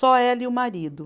Só ela e o marido.